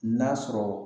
N'a sɔrɔ